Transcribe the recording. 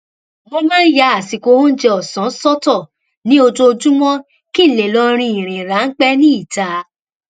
mo máa ń ya àsìkò oúnjẹ òsán sọtọ ní ojoojúmọ kí n lè lọ rìn ìrìn ráńpé ní ìta